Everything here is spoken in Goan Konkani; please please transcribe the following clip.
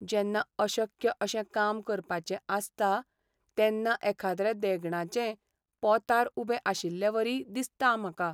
जेन्ना अशक्य अशें काम करपाचें आसता तेन्ना एखाद्रे देगणाचे पोंतार उबे आशिल्लेवरी दिसता म्हाका.